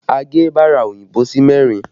A gé bara òyìnbó sí mẹ́rin